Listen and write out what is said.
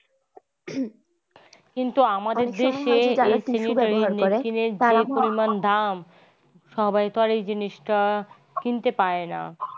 কিন্তু আমাদের দেশে এই sanitary napkin যে পরিমান দাম সবাই তো এই জিনিসটা কিনতে পায়না।